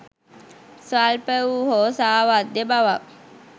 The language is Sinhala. ස්වල්ප වූ හෝ සාවද්‍ය බවක්